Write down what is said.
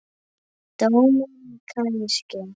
Dómari kannski?